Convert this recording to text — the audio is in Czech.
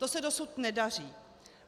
To se dosud nedaří.